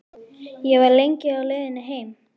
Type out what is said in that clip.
Ég var lengi á leiðinni heim.